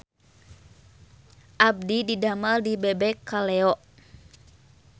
Abdi didamel di Bebek Kaleyo